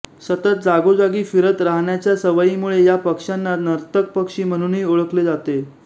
सतत जागोजागी फिरत राहण्याच्या सवईमुळे या पक्ष्यांना नर्तक पक्षी म्हणूनही ओळखले जाते